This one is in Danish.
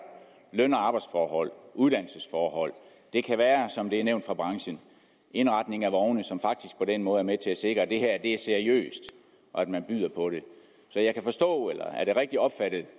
løn og arbejdsforhold uddannelsesforhold og det kan være som det er nævnt af branchen indretning af vogne som faktisk på den måde er med til at sikre at det her er seriøst og at man byder på det så jeg kan forstå eller er det rigtigt opfattet